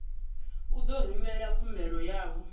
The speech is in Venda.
u ḓo rumela khumbelo yavho